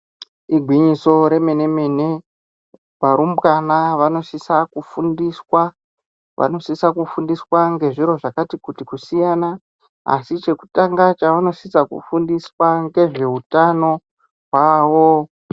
Igwinyiso remene mene varumbwana vanosisa kufundiswa ngezviro zvakati kuti kusiyana asi chekutanga chanosisa kufundiswa ngezvehutano hwawo.